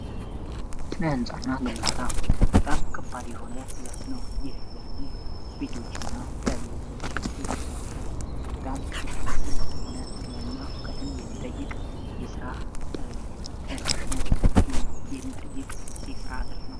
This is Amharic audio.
ስነ ህንፃና ግንባታ በጣም ከባድ የሆነ ዘርፍ ነው ይህ ዘርፍ ቤቶችንና የተለያዩ ቦታዎችን የሚሠራ በጣም ትልቅ የሆነ ሙያና እውቀትን የሚጠይቅ የስራ ተነሳሽነትን የሚጠይቅ የስራ ዘርፍ ነው።